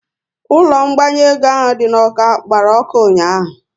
Ụlọ ngbanwe ego ahụ dị n'Awka gbara ọkụ ụnyaahụ